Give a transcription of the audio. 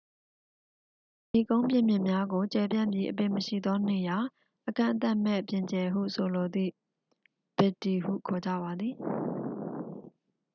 "ဤကုန်းပြင်မြင့်များကို ကျယ်ပြန့်ပြီး၊ အပင်မရှိသော နေရာ၊ အကန့်အသတ်မဲ့ ပြင်ကျယ်ဟု ဆိုလိုသည့် "ဗစ်ဒီ" ဟု ခေါ်ကြပါသည်။